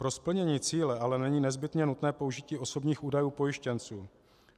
Pro splnění cíle ale není nezbytně nutné použití osobních údajů pojištěnců.